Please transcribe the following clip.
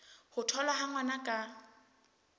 ho tholwa ha ngwana ka